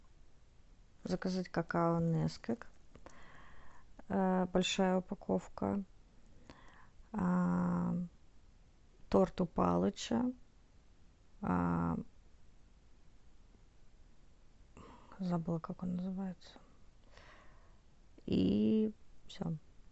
заказать какао несквик большая упаковка торт у палыча забыла как он называется и все